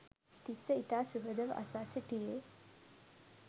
තිස්‌ස ඉතා සුහදව අසා සිටියේ